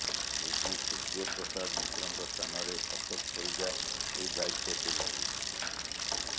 AG Surya Prasad ମିଶ୍ରଙ୍କ ସ୍ଥାନରେ ଅଶୋକ ପରିଜା ଏହି ଦାୟିତ୍ୱ ତୁଲାଇବେ